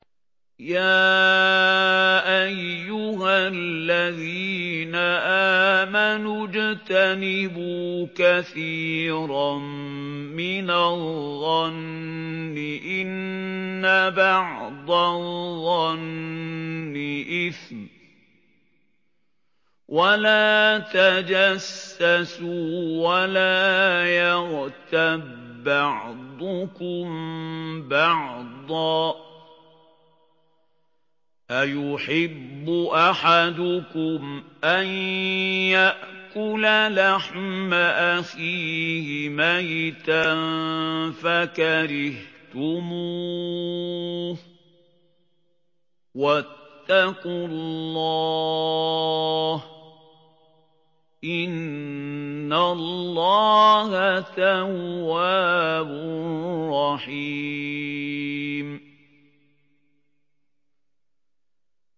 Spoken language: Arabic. يَا أَيُّهَا الَّذِينَ آمَنُوا اجْتَنِبُوا كَثِيرًا مِّنَ الظَّنِّ إِنَّ بَعْضَ الظَّنِّ إِثْمٌ ۖ وَلَا تَجَسَّسُوا وَلَا يَغْتَب بَّعْضُكُم بَعْضًا ۚ أَيُحِبُّ أَحَدُكُمْ أَن يَأْكُلَ لَحْمَ أَخِيهِ مَيْتًا فَكَرِهْتُمُوهُ ۚ وَاتَّقُوا اللَّهَ ۚ إِنَّ اللَّهَ تَوَّابٌ رَّحِيمٌ